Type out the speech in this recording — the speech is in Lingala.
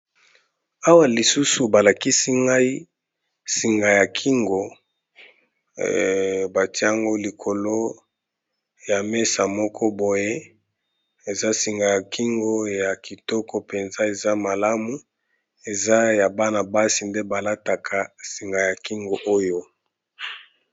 Awa lisusu, balakisi ngai singa ya kingo batie yango likolo ya mesa moko boye. Eza singa ya kingo ya kitoko mpenza, eza malamu. Eza ya bana basi nde balataka singa ya kingo oyo.